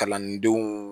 Kalandenw